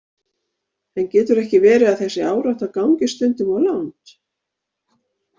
En getur ekki verið að þessi árátta gangi stundum of langt?